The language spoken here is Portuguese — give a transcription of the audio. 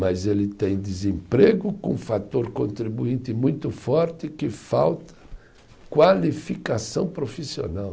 Mas ele tem desemprego com um fator contribuinte muito forte que falta qualificação profissional.